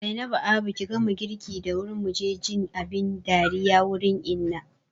Zainabu abu ki gama girki da wuri muje jin abin dariya wurin Inna